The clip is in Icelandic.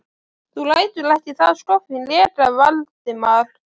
Þú lætur ekki það skoffín reka Valdimar!